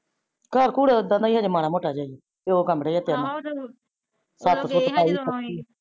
ਘਰ ਕੁਰ ਤਾ ਇਦ੍ਹਾ ਦਾ ਹੀਆ ਹਜੇ ਮਾੜਾ ਮੋਟਾ ਜਾ ਹੀਆ ਤੇ ਦੋ ਕਮਰੇ ਆ ਤਿੰਨ ਛੱਤ ਛੁਤੱ ਪਾਈ ਪੱਕੀ।